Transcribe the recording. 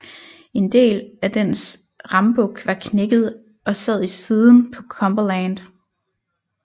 En del af dens rambuk var knækket af og sad i siden på Cumberland